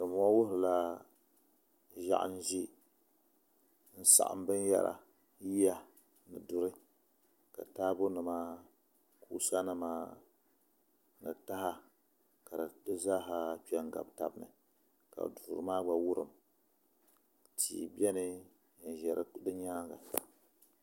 Dinbɔŋɔ wuhurila ʒiɛɣu ni ʒɛ n saɣam yiya duri ni taabo nima kusa nima ni taha ka di zaaha kpɛ n gabi tabi ni ka duu maa gba wurim tihi biɛni n yiri di nyaanga